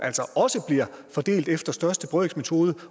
også bliver fordelt efter største brøks metode